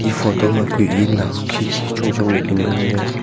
photo ma kue enao khikhi chong ley ku ngan ley.